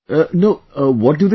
No...what do they say